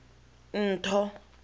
ntho